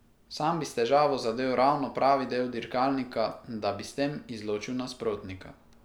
Sam bi s težavo zadel ravno pravi del dirkalnika, da bi s tem izločil nasprotnika.